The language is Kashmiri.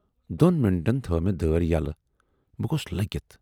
دۅن مِنٹن تھٲو مے دٲر یَلہٕ، بہٕ گوٗس لٔگِتھ۔